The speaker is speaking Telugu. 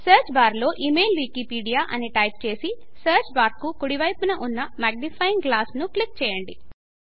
సర్చ్ బార్ లో ఇమెయిల్ వికీపీడియా అని టైపు చేసి సర్చ్ బార్ కు కుడి వైపు ఉన్న మగ్నిఫ్యింగ్ గ్లాస్ క్లిక్ చేయండి